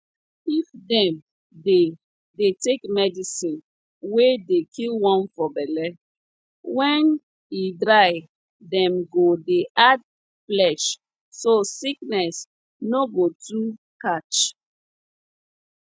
if dem dey dey take medicine wey dey kill worm for belle wen e dry dem go dey add flesh so sickness no go too catch